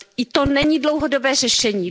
To není dlouhodobé řešení.